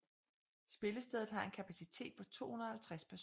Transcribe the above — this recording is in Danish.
Spillestedet har en kapacitet på 250 personer